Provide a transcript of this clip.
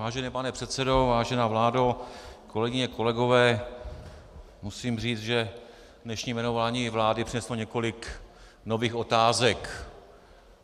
Vážený pane předsedo, vážená vládo, kolegyně, kolegové, musím říct, že dnešní jmenování vlády přineslo několik nových otázek.